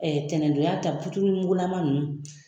Ɛɛ tɛnɛndonya ta puturumugulama ninnu